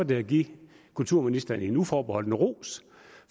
det at give kulturministeren en uforbeholden ros